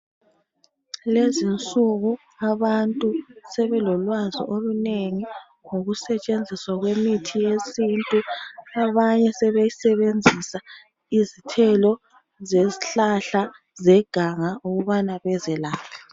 Lezinsuku abantu sebelolwazi olunengi , ngokusetshenziswa kwemithi yesintu. Abanye sebesebenzisa izithelo zezihlahla zeganga ukubana bezelaphe.